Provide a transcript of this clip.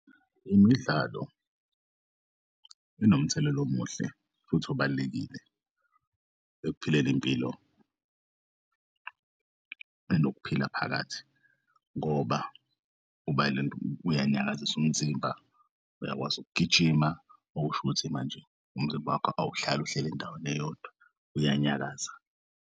Imidlalo inomthelela omuhle futhi obalulekile ekuphileni impilo enokuphila phakathi ngoba uyanyakazisa umzimba uyakwazi ukugijima, okusho ukuthi manje umzimba wakho awuhlali uhleli endaweni eyodwa uyanyakaza.